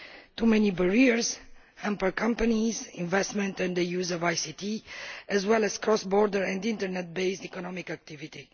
Too many barriers hamper companies' investment in the use of ICT as well as cross border and Internet based economic activity.